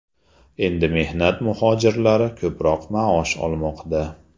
Endi mehnat muhojirlari ko‘proq maosh olmoqda.